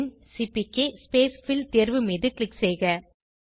பின் CPK spacefill தேர்வு மீது click செய்க